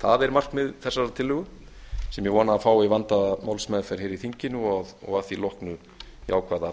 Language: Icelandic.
það er markmið þessarar tillögu sem ég vona að fái vandaða málsmeðferð hér í þinginu og að því loknu jákvæða